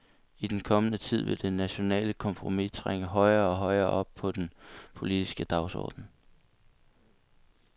I den kommende tid vil det nationale kompromis trænge højere og højere op på den politiske dagsorden.